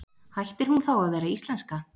Hættir hún þá að vera íslenska?